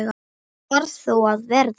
Það varð þó að verða.